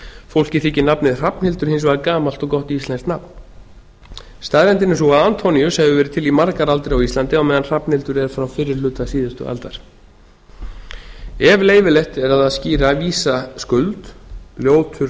fólki þykir nafnið hrafnhildur hins vegar gamalt og gott íslenskt nafn staðreyndin er sú að antoníus hefur verið til í margar aldir á íslandi á meðan hrafnhildur er frá fyrri hluta síðustu aldar ef leyfilegt er að skíra vísa skuld ljótur